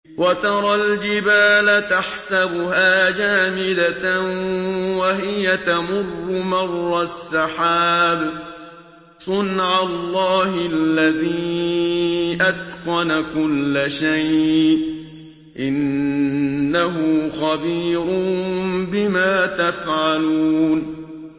وَتَرَى الْجِبَالَ تَحْسَبُهَا جَامِدَةً وَهِيَ تَمُرُّ مَرَّ السَّحَابِ ۚ صُنْعَ اللَّهِ الَّذِي أَتْقَنَ كُلَّ شَيْءٍ ۚ إِنَّهُ خَبِيرٌ بِمَا تَفْعَلُونَ